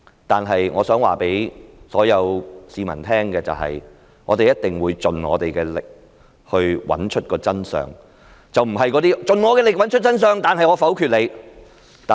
但是，我想告訴所有市民，我們一定會盡力找出真相，不是"盡我的力找出真相，但是我否決你"。